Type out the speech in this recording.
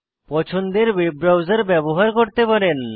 পছন্দের web browser ব্যবহার করতে পারেন